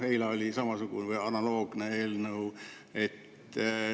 Eila oli samasugune, analoogne eelnõu.